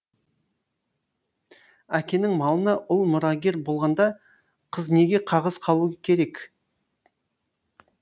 әкенің малына ұл мұрагер болғанда қыз неге қағыс қалу керек